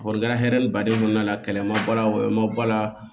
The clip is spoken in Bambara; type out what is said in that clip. O kɔni kɛra hɛrɛ ni baden kɔnɔna la kɛlɛ ye ma ba la o ma ba la